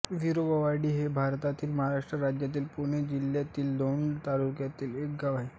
विरोबावाडी हे भारताच्या महाराष्ट्र राज्यातील पुणे जिल्ह्यातील दौंड तालुक्यातील एक गाव आहे